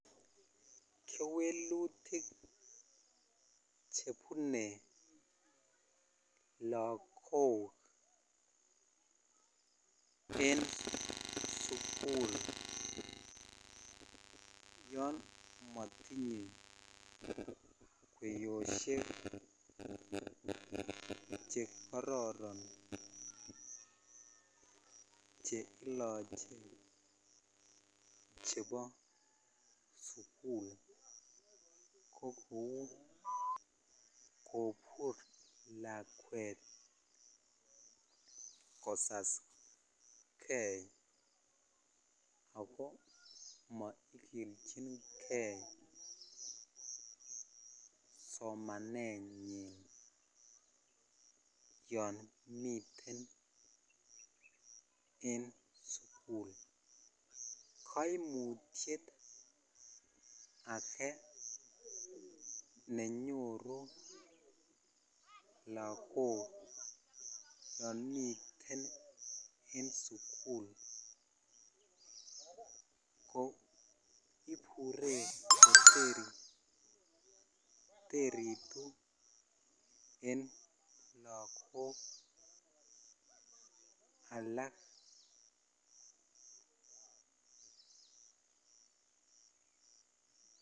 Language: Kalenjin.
Kewelutik chebune lagok en sukul yamatinye keyoshek chekororon cheilache chebo sukul kokou kobur lakwet kosas gei akomaikilchin gei somanenyin yamiten en sukul kaimutyet age nenyoru lagok yamiten en sukul KO ibure koteritun en lagok alak